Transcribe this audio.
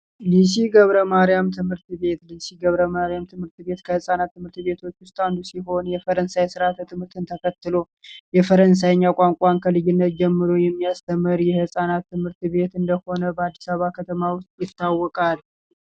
ገብረ ማርያም ትምህርት ቤት ሲገብረማርያም ትምህርት ቤት ከፃናት ዉስጥ አንዱ ሲሆን የፈረንሳይ ስርዓትን ተከትሎ የፈረንሳይኛ ቋንቋ ልዩነት ጀምሮ የሚያስተምር የህፃናት ትምህርት ቤት እንደሆነ ይታወቃል